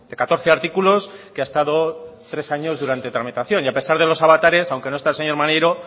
catorce artículos que ha estado tres años durante tramitación y a pesar de los avatares aunque no está el señor maneiro